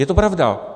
Je to pravda.